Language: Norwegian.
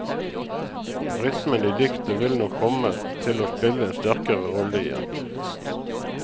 Rytmen i diktet vil nok komme til å spille en sterkere rolle igjen.